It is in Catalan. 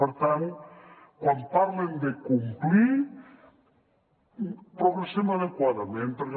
per tant quan parlen de complir progressem adequadament perquè